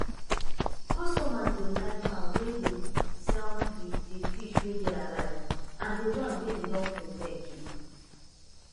customers dey like farm wey dey sell di di fish wey dey alive and di wan wey dem don prepare keep